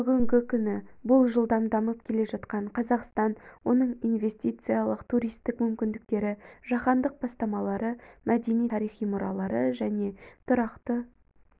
бүгінгі күні бұл жылдам дамып кележатқан қазақстан оның инвестициялық-туристік мүмкіндіктері жаһандық бастамалары мәдени-тарихи мұралары және тұрақты